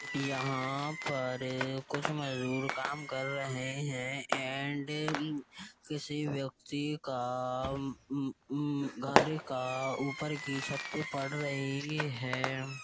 यहाँ पर कुछ मजदूर काम कर रहे हैं एंड अहः किसी व्यक्ति का उ उ उ घर का ऊपर की छत पड़ रही है।